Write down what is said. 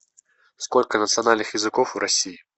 сколько национальных языков в россии